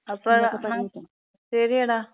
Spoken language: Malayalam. അപ്പം നമക്ക്, ശരിയെടാ,